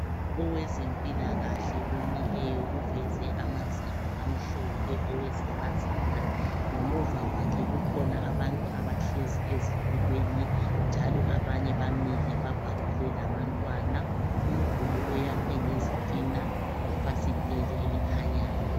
owezempilakahle omileyo uveze amazinyo amhlophe owesifazana ngemuva kwakhe kukhona abantu abahlezi ezitulweni njalo abanye bamile babhabhule labantwana umduli oyakhiwe ngezitina lefasiteli elikhanyayo